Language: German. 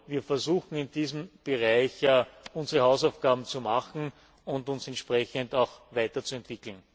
Wir versuchen, in diesem Bereich unsere Hausaufgaben zu machen und uns entsprechend weiterzuentwickeln.